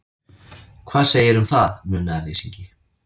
Hvað segirðu um það, munaðarleysingi?